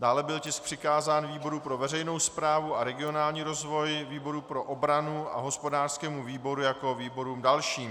Dále byl tisk přikázán výboru pro veřejnou správu a regionální rozvoj, výboru pro obranu a hospodářskému výboru jako výborům dalším.